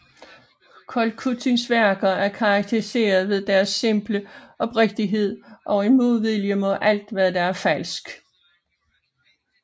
Kolkutins værker er karakteriseret ved deres simple oprigtighed og en modvilje mod alt hvad der er falsk